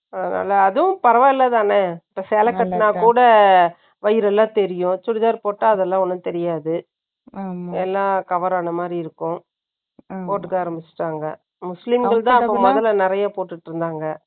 அதனால, அதுவும் பரவாயில்லைதானே? இப்ப சேலை கட்டுனா கூட, வயிறு எல்லாம் தெரியும். சுடிதார் போட்டா, அதெல்லாம் ஒண்ணும் தெரியாது. ம், எல்லாம் cover ஆன மாரி இருக்கும் போட்டுக்க ஆரம்பிச்சுட்டாங்க முஸ்லிம்கள்தான் அப்ப முதல்ல நிறைய போட்டுட்டு இருந்தாங்க.